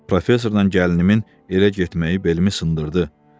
Professordan gəlinimin elə getməyi belimi sındırdı.